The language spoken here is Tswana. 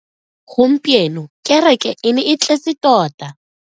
Gompieno kereke e ne e tletse tota.